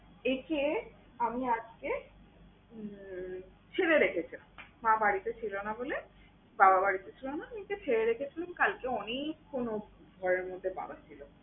একে আমি আজকে উম ছেড়ে রেখেছে। মা বাড়িতে ছিলো না বলে বাবাও আবার বাড়িতে হয় ছিলো ওকে ছেড়ে রেখেছিল। কালকে অনেকক্ষণ ও ঘরের মধ্যে বাঁধা ছিলো।